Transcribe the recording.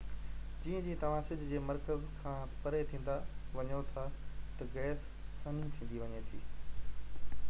جيئن جيئن توهان سج جي مرڪز کان پري ٿيندا وڃو ٿا ته گئس سنهي ٿيندي وڃي ٿي